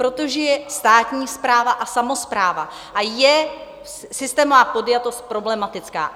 Protože je státní správa a samospráva, a je systémová podjatost problematická.